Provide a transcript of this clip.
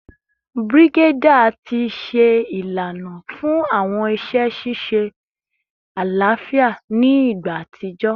Brigadier ti ṣe ilana fun awọn iṣẹ ṣiṣe alafia ni igba atijọ